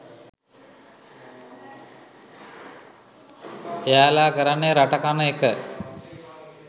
එයාලා කරන්නේ රට කන එක?